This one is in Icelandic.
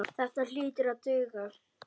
Þetta hlýtur að duga.